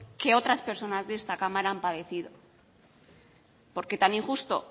que otras personas de esta cámara han padecido porque tan injusto